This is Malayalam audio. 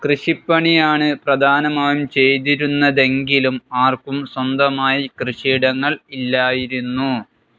കൃഷിപ്പണിയാണ് പ്രധാനമായും ചെയ്തിരുന്നതെങ്കിലും ആർക്കും സ്വന്തമായി കൃഷിയിടങ്ങൾ ഇല്ലായിരുന്നു.